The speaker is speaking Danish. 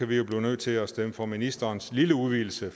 vi jo blive nødt til at stemme for ministerens lille udvidelse